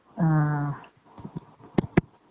ம்ம்